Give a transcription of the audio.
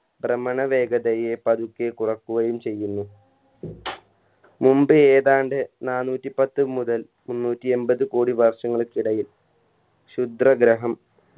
ഭ്രമണ വേഗതയെ പതുക്കെ കുറക്കുകയും ചെയ്യുന്നു മുമ്പ് ഏതാണ്ട് നാനൂറ്റിപ്പത്ത് മുതൽ മുന്നൂറ്റി എമ്പത് കോടി വർഷങ്ങൾക്കിടയിൽ ശുദ്രഗ്രഹം